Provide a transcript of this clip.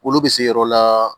Wolo bɛ se yɔrɔ la